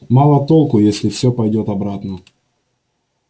мало толку если всё пойдёт обратно